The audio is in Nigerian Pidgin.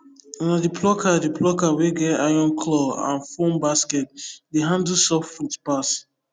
na the plucker the plucker wey get iron claw and foam basket dey handle soft fruit pass